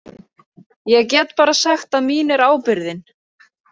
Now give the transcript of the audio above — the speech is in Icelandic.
Ég get bara sagt að mín er ábyrgðin.